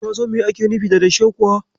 Ka san me ake nufi da dashe kuwa?